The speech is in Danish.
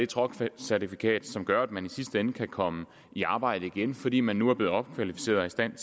truckcertifikat som gør at man i sidste ende kan komme i arbejde igen fordi man nu er blevet opkvalificeret og i stand